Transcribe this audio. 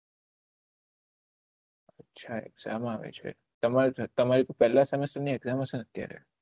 અચ્છા exam આવે છે તમારે તો પેહલા સેમિસ્ટર ની exam હશે અત્યારે